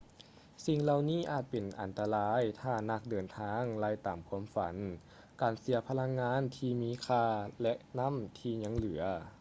ສິ່ງເຫຼົ່ານີ້ອາດຈະເປັນອັນຕະລາຍຖ້ານັກເດີນທາງໄລ່ຕາມຄວາມຝັນ ການເສຍພະລັງງານທີ່ມີຄ່າ ແລະ ນຳ້ທີຍັງເຫຼືອ